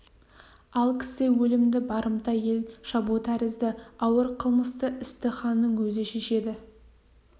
ал кісі өлімді барымта ел шабу тәрізді ауыр қылмысты істі ханның өзі шешеді